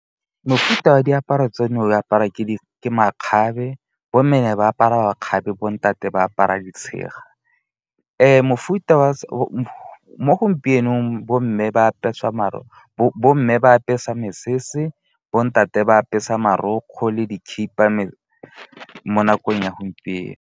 Mofuta wa diaparo tseno o aparwa ke makgabe. Bomme ne ba apara makgabe, bo ntate ba apara ditshega. Mo gompienong bomme ba apeswa mesese, bo ntate ba apeswa marokgwe le dikhipha mo nakong ya gompieno.